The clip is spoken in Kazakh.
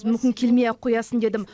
мүмкін келмей ақ қоясың дедім